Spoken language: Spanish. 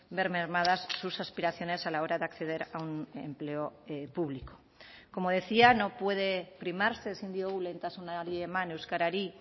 ver mermadas sus aspiraciones a la hora de acceder a un empleo público como decía no puede primarse ezin diogu lehentasunari eman euskarari